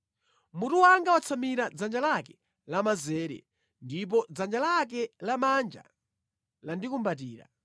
Mutu wanga watsamira dzanja lake lamanzere ndipo dzanja lake lamanja landikumbatira.